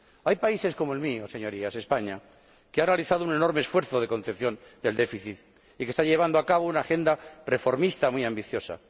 Hay países como el mío, Señorías, España, que ha realizado un enorme esfuerzo de contención del déficit y que está llevando a cabo una agenda reformista muy ambiciosa.